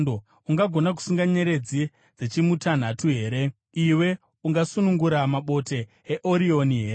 “Ungagona kusunga nyeredzi dzeChimutanhatu here? Iwe ungasunungura mabote eOrioni here?